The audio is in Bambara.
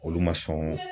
Olu ma sɔn